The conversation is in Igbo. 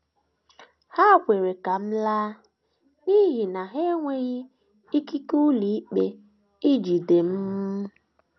Ha kwere ka m laa n’ihi na ha enweghị ikike ụlọikpe ijide m.